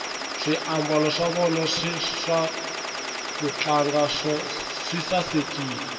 swiambalo swa vona swa kutlanga swi sasekile